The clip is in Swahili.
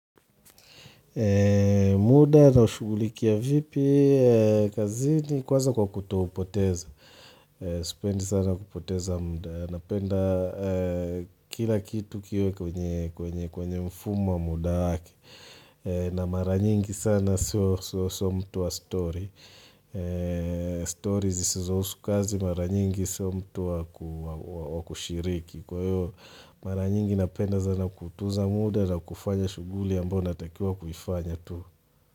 Muda naushugulikia vipi, kazini kwanza kwa kutoupoteza, sipendi sana kupoteza muda, napenda kila kitu kiwe kwenye mfumo wa muda wake, na mara nyingi sana sio mtu wa stori, stori zisizohusu kazi mara nyingi sio mtu wa kushiriki. Kwa hiyo mara nyingi napenda sana kuutuza muda na kufanya shughuli ambayo natakiwa kuifanya tu.